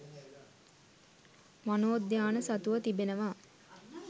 වනෝද්‍යාන සතුව තිබෙනවා